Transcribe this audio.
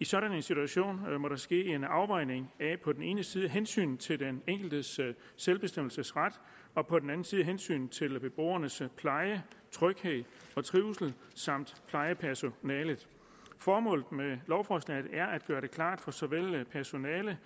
i sådan en situation må der ske en afvejning af på den ene side hensynet til den enkeltes selvbestemmelsesret og på den anden side hensynet til beboernes pleje tryghed og trivsel samt plejepersonalet formålet med lovforslaget er at gøre det klart for såvel personale